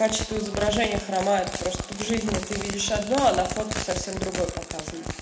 качество изображения хромает просто в жизни ты видишь одно а на фотке совсем другое показано